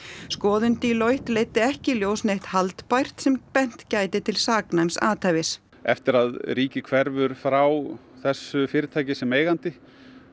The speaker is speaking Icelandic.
skoðun Deloitte leiddi ekki í ljós neitt haldbært sem bent gæti til saknæms athæfis eftir að ríkið hverfur frá þessu fyrirtæki sem eigandi